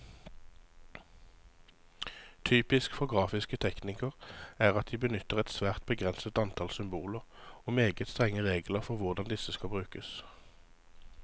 Typisk for grafiske teknikker er at de benytter et svært begrenset antall symboler, og meget strenge regler for hvordan disse skal brukes.